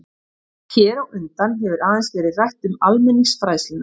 Hér á undan hefur aðeins verið rætt um almenningsfræðsluna.